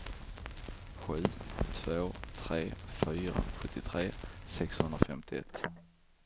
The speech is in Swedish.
sju två tre fyra sjuttiotre sexhundrafemtioett